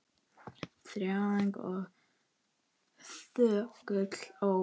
Þjáning og þögult óp!